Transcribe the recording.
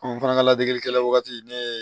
fana ka ladegekɛla wagati ne